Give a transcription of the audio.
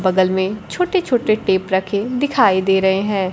बगल में छोटे छोटे टेप रखे दिखाई दे रहे हैं।